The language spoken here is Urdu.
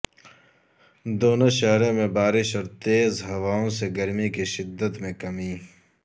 دونوںشہروں میں بارش اور تیز ہواوں سے گرمی کی شدت میں کمی